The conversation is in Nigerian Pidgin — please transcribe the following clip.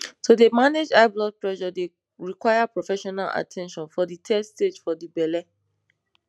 to dey manage high blood pressure dey require professional at ten tion for de third stage for de belle